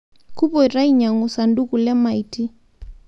Kupoito ainyangu saduku lemaiti